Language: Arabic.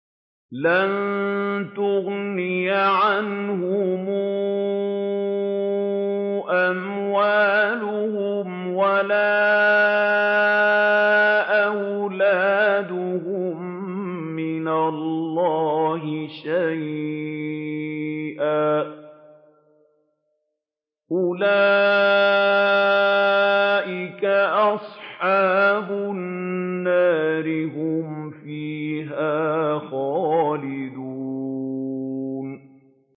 لَّن تُغْنِيَ عَنْهُمْ أَمْوَالُهُمْ وَلَا أَوْلَادُهُم مِّنَ اللَّهِ شَيْئًا ۚ أُولَٰئِكَ أَصْحَابُ النَّارِ ۖ هُمْ فِيهَا خَالِدُونَ